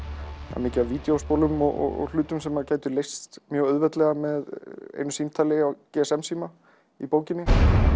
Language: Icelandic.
það er mikið af vídjóspólum og hlutum sem gætu mjög auðveldlega með einu símtali á gsm síma í bókinni